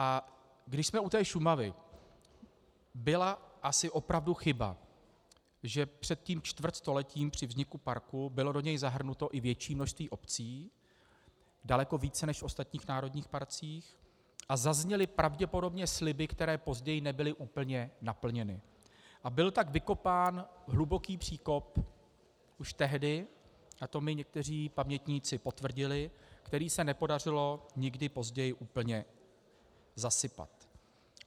A když jsme u té Šumavy, byla asi opravdu chyba, že před tím čtvrtstoletím při vzniku parku bylo do něj zahrnuto i větší množství obcí, daleko více než v ostatních národních parcích, a zazněly pravděpodobně sliby, které později nebyly úplně naplněny, a byl tak vykopán hluboký příkop už tehdy, a to mi někteří pamětníci potvrdili, který se nepodařilo nikdy později úplně zasypat.